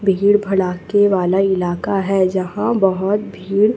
भीड़ भलाके वाला इलाका हैं जहां बहोत भीड़--